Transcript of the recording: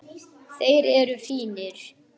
Þeir eru fínir.